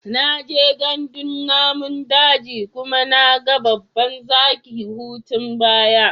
Na je gandun namun daji kuma na babban zaki hutun baya.